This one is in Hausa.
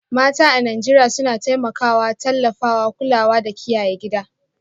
Mata a Najeriya suna taimakawa, tallafawa, kulawa da kiyaye gida